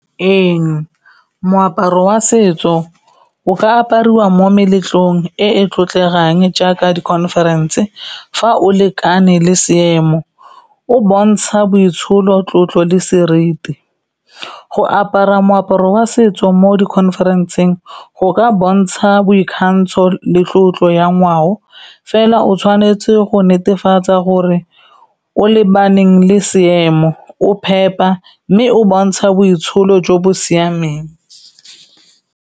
Ee, moaparo wa setso o ka apariwa mo meletlong e e tlotlegang jaaka di conference, fa o lekane le seemo, o bontsha boitsholo, tlotlo le seriti. Go apara moaparo wa setso mo di conference-ng, go ka bontsha boikgantsho le tlotlo ya ngwao, fela o tshwanetse go netefatsa gore o lebaneng le seemo, o phepa, mme o bontsha boitsholo jo bo siameng.